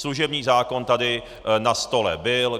Služební zákon tady na stole byl.